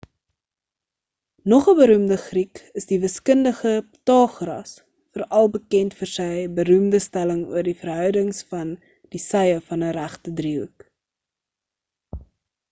nog 'n beroemde griek is die wiskundige pythagoras veral bekend vir sy beroemde stelling oor die verhoudings van die sye van 'n regte driehoek